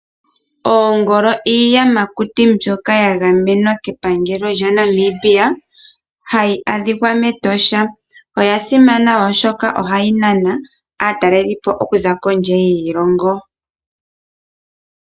Oongolo, iiyamakuti mbyoka ya gamenwa kepangelo lyaNamibia hayi adhika mEtosha. Oya simana oshoka oha yi nana aatalelipo okuza kondje yiilongo.